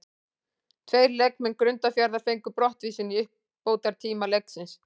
Tveir leikmenn Grundarfjarðar fengu brottvísun í uppbótartíma leiksins.